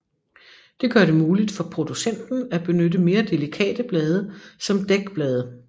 Det gør det muligt for producenten at benytte mere delikate blade som dækblade